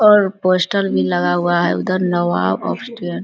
और पोस्टर भी लगा हुआ है उधर नवाब आफ